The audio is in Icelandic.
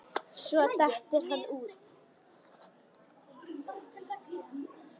Svo dettur hann út.